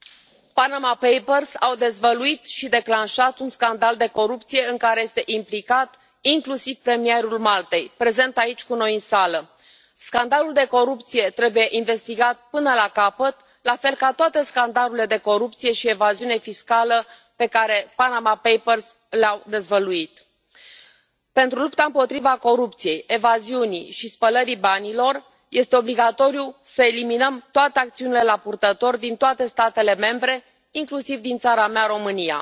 Domnule președinte, Panama Papers au dezvăluit și au declanșat un scandal de corupție în care este implicat inclusiv premierul Maltei, prezent aici cu noi în sală. Scandalul de corupție trebuie investigat până la capăt, la fel ca toate scandalurile de corupție și evaziune fiscală pe care Panama Papers le au dezvăluit. Pentru lupta împotriva corupției, evaziunii și spălării banilor, este obligatoriu să eliminăm toate acțiunile la purtător din toate statele membre, inclusiv din țara mea, România.